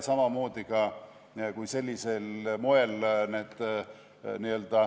Samamoodi, kui sellisel moel need ...